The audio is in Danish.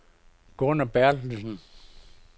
Gunnar Berthelsen